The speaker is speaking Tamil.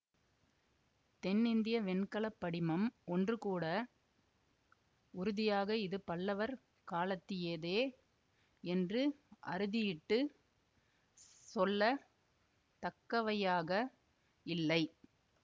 தென்னிந்திய வெண்கல படிமம் ஒன்றுகூட உறுதியாக இது பல்லவர் காலத்தியதே என்று அறுதியிட்டுச் சொல்ல தக்கவையாக இல்லை